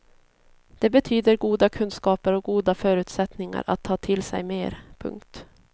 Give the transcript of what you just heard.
Det betyder goda kunskaper och goda förutsättningar att ta till sig mer. punkt